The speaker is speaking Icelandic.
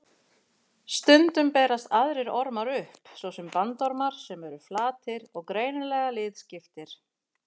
Stundum berast aðrir ormar upp, svo sem bandormar sem eru flatir og greinilega liðskiptir.